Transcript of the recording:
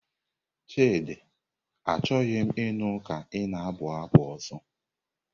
Chidi, Achọghị m ịnụ ka ị na-abụ abụ ọzọ!